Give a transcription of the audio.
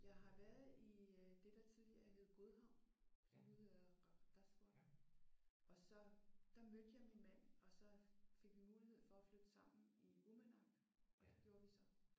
Jeg har været i øh det der tidligere hed Godhavn som nu hedder Qeqertarsuaq. Og så der mødte jeg min mand og så fik vi mulighed for at flytte sammen i Uummannaq. Og det gjorde vi så